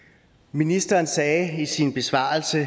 ministeren sagde i sin besvarelse